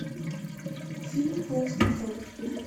фильм клаустрофобы